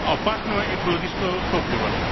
опасного экологического топлива